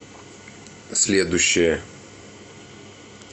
следующая